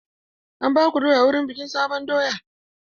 An baku doya wurin bikin sabon doya?